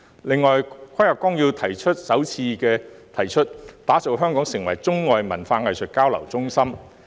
此外，《十四五規劃綱要》首次提出支持香港發展中外文化藝術交流中心。